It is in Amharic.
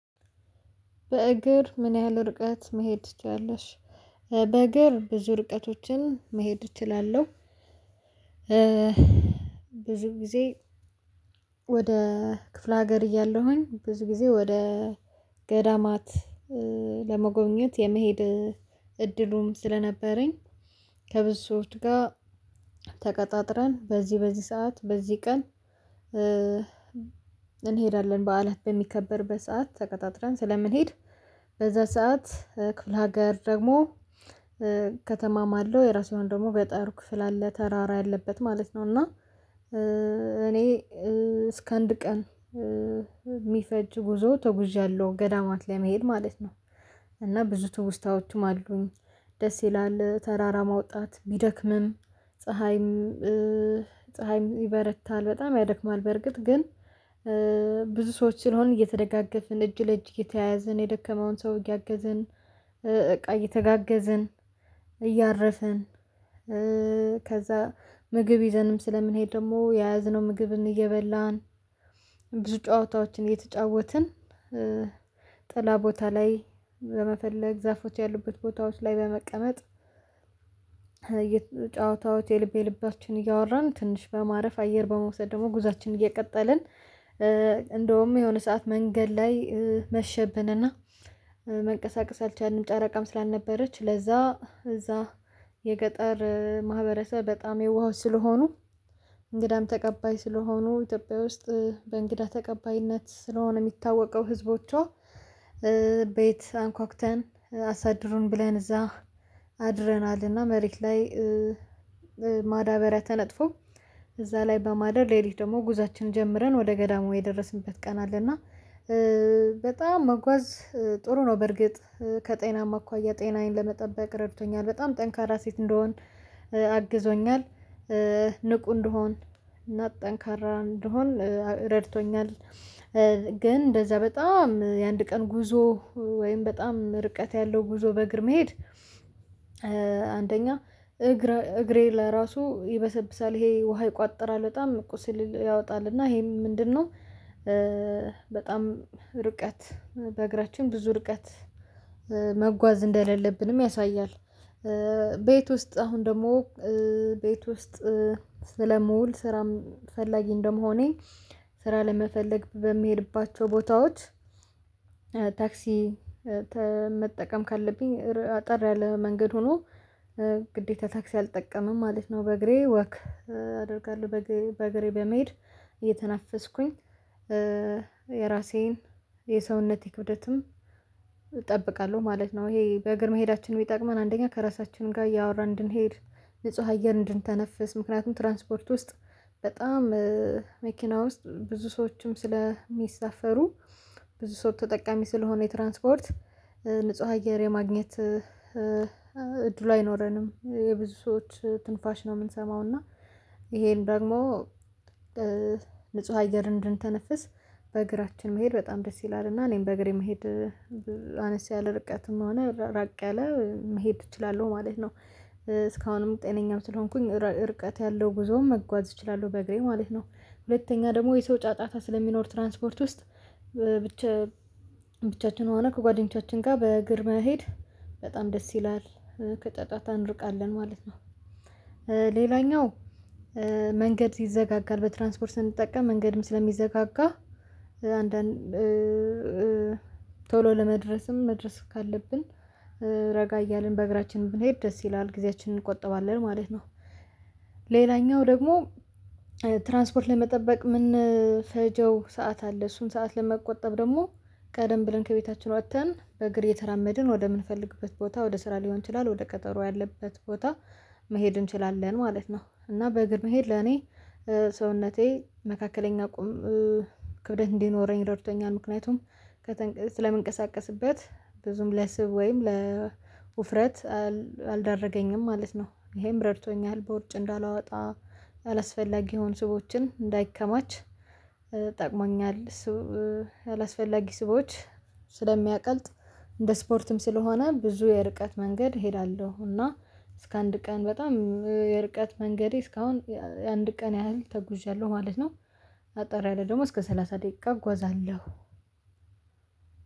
በእግር ምን ያህል ርቀት መሄድ ትችያለሽ? በእግር ብዙ ርቀቶችን መሄድ እችላለሁ። ብዙ ጊዜ ወደ ክፍለ ሀገር እያለሁኝ ብዙ ጊዜ ወደ ገዳማት ለመጎብኘት የመሄድ እድሉም ስለነበረኝ ከብዙ ሰዎች ጋር ተቀጣጥረን በዚህ በዚህ ሰዓት በዚህ ቀን። እንሄዳለን በዓላት በሚከበርበት ሰዓት ተቀጣጥረን ስለምንሄድ በዛ ሰዓት ክፍለ ሀገር ደግሞ ከተማም አለው የራሱ የሆነ ደግሞ ገጠሩ ክፍል አለ ተራራ ያለበት ማለት ነው። እና እኔ እስከ አንድ ቀን የሚፈጅ ጉዞ ተጉዣለሁ ገዳማት ለመሄድ ማለት ነው። እና ብዙ ትዉስታዎችም አሉኝ። ደስ ይላል ተራራ መውጣት ቢደክምም ፀሀይም ፀሀይም ይበረታል በጣም ያደክማል በርግጥ ግን። ብዙ ሰዎች ስለሆንን እየተደጋገፍን እጅ ለእጅ እየተያያዝን የደከመውን ሰው እያገዘን። እቃ እየተጋገዝን እያረፍን ከዛ ምግብ ይዘንም ስለምንሄድ ደግሞ የያዝነው ምግብም እየበላን ብዙ ጨዋታዎችን እየተጫወትን ጥላ ቦታ ላይ በመፈለግ ዛፎች ያሉበት ቦታዎች ላይ በመቀመጥ። ጨዋታዎች የልብ የልባችን እያወራን ትንሽ በማረፍ አየር በመውሰድ ደግሞ ጉዟችንን እየቀጠልን። እንደውም የሆነ ሰዓት መንገድ ላይ መሸብንና መንቀሳቀስ አልቻልንም ጨረቃም ስላልነበረች ለዛ እዛ የገጠር ማህበረሰብ በጣም የዋኅች ስለሆኑ። እንግዳም ተቀባይ ስለሆኑ ኢትዮጵያ ውስጥ በእንግዳ ተቀባይነት ስለሆነ የሚታወቀው ህዝቦቿ። ቤት አንኳክተን አሳድሩን ብለን እዛ አድረናልና መሬት ላይ። ማዳበሪያ ተነጥፎ እዛ ላይ በማደር ሌሊት ደግሞ ጉዟችን ጀምረን ወደ ገዳሙ የደረስንበት ቀን አለ እና በጣም መጓዝ ጥሩ ነው። በእርግጥ ከጤናማ አኳያ ጤናዬን ለመጠበቅ እረድቶኛል በጣም ጠንካራ ሴት እንድሆን አግዞኛል። ንቁ እንድሆን እና ጠንካራ እንድሆን እረድቶኛል። ግን እንደዛ በጣም የአንድ ቀን ጉዞ ወይም በጣም ርቀት ያለው ጉዞ በእግር መሄድ። አንደኛ እግሬ ለራሱ ይበሰብሳል ይሄ ውሃ ይቋጥራል በጣም ቁስል ያወጣልና ይሄም ምንድነው? በጣም ርቀት በእግራችን ብዙ ርቀት መጓዝ እንደሌለብንም ያሳያል። ቤት ውስጥ አሁን ደግሞ ቤት ውስጥ ስለምውል ስራም ፈላጊ እንደመሆኔ ስራ ለመፈለግ በምሄድባቸው ቦታዎች። ታክሲ መጠቀም ካለብኝ አጠር ያለ መንገድ ሆኖ ግዴታ ታክሲ አልጠቀምም ማለት ነው። በእግሬ ወክ አደርጋለሁ በእግሬ በመሄድ እየተናፈስኩኝ የራሴን የሰውነት የክብደትም እጠብቃለሁ ማለት ነው። ይሄ በእግር መሄዳችን የሚጠቅመን አንደኛ ከራሳችን ጋር እያወራን እንድንሄድ ንጹህ አየር እንድንተነፍስ ምክንያቱም ትራንስፖርት ውስጥ በጣም መኪና ውስጥ ብዙ ሰዎችም ስለሚሳፈሩ ብዙ ሰው ተጠቃሚ ስለሆነ የትራንስፖርት ንጹህ አየር የማግኘት እድሉ አይኖረንም። የብዙ ሰዎች ትንፋሽ ነው የምንሰማው እና ይሄን ደግሞ ንጹህ አየር እንድንተነፍስ በእግራችን መሄድ በጣም ደስ ይላልና እኔም በእግር መሄድ። አነስ ያለ ርቀትም ሆነ ራቅ ያለ መሄድ እችላለሁ ማለት ነው። እስካሁንም ጤነኛም ስለሆንኩኝ እርቀት ያለው ጉዞውም መጓዝ እችላለሁ በእግሬ ማለት ነው። ሁለተኛ ደግሞ የሰው ጫጫታ ስለሚኖር ትራንስፖርት ውስጥ ብቻ ብቻችን ሆነ ከጓደኞቻችን ጋር በእግር መሄድ በጣም ደስ ይላል ከጫጫታ እንርቃለን ማለት ነው። ሌላኛው መንገድ ይዘጋጋል በትራንስፖርት ስንጠቀም መንገድም ስለሚዘጋጋ አንዳንድ ቶሎ ለመድረስም መድረስ ካለብን ረጋ እያልን በእግራችን ብንሄድ ደስ ይላል ጊዜያችንን እንቆጥባለን ማለት ነው። ሌላኛው ደግሞ ትራንስፖርት ለመጠበቅ የምንፈጀው ሰዓት አለ እሱን ሰዓት ለመቆጠብ ደግሞ ቀደም ብለን ከቤታችን ወጥተን በእግር እየተራመድን ወደምንፈልግበት ቦታ ወደ ስራ ሊሆን ይችላል ወደ ቀጠሮ ያለበት ቦታ መሄድ እንችላለን ማለት ነው። እና በእግር መሄድ ለኔ ሰውነቴ መካከለኛ ክብደት እንዲኖረኝ ረድቶኛል። ምክንያቱም ስለምንቀሳቀስበት ብዙም ለስብ ወይም ለውፍረት አልዳረገኝም ማለት ነው ይሄም ረድቶኛል። በቦርጭ እንዳላወጣ አላስፈላጊ የሆኑ ስቦችን እንዳይከማች ጠቅሞኛል። አላስፈላጊ ስቦች ስለሚያቀልጥ እንደ ስፖርትም ስለሆነ ብዙ የርቀት መንገድ እሄዳለሁ እና እስከ አንድ ቀን በጣም የርቀት መንገዴ እስካሁን የአንድ ቀን ያህል ተጉዣለሁ ማለት ነው። አጠር ያለ ደግሞ እስከ ሰላሳ ደቂቃ እጓዛለሁ።